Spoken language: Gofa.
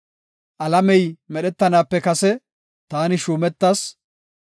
Alamey medhetanaape kase taani shuumetas.